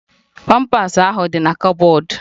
Pampas ahụ di na kọbọdu